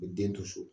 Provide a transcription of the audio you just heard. U bɛ den to so